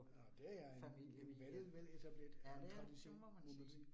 Nåh det er en en veletableret tradition må man sige